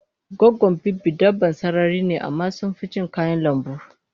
Goggon biri dabban sarari ne amma sunficin kayan lambu